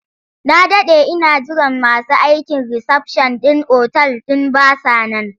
Na daɗe ina jiran masu aikin risafshan ɗin otal ɗin ba sa nan.